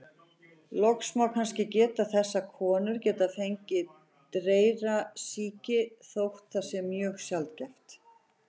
Loks má kannski geta þess að konur geta fengið dreyrasýki, þótt það sé mjög sjaldgæft.